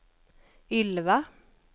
Ylva